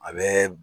A bɛ